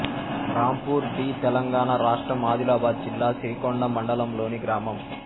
Rampur B Telangana రాష్ట్రం ఆదిలాబాద్ జిల్లా సిరికొండ మండలంలోని గ్రామం